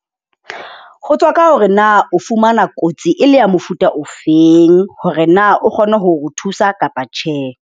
Ho tswa ka hore na o fumana kotsi e le ya mofuta ofeng, hore na o kgone ho ro thusa kapa tjhe.